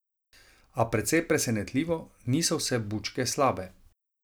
A, precej presenetljivo, niso vse bučke slabe.